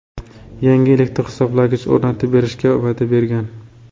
yangi elektr hisoblagich o‘rnatib berishga va’da bergan.